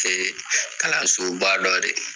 Kee kalansoba dɔ de ye